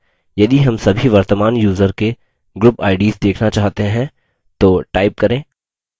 यदि हम सभी वर्तमान यूज़र के group ids देखना चाहते हैं तो type करें